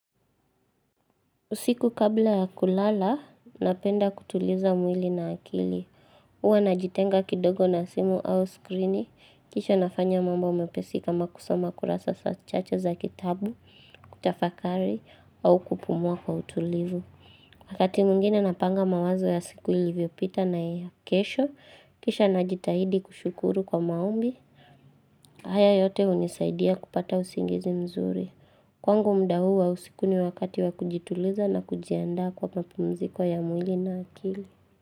Usiku kabla ya kulala, napenda kutuliza mwili na akili. Uwa najitenga kidogo na simu au skrini, kisha nafanya mambo mepesi kama kusoma kurasa sa chache za kitabu, kutafakari, au kupumua kwa utulivu. Wakati mungine napanga mawazo ya siku ili vyopita na kesho, kisha najitahidi kushukuru kwa maombi, haya yote unisaidia kupata usingizi mzuri. Kwangu mda huu wa usikuni wakati wakujituliza na kujianda kwa mapumziko ya mwili na akili.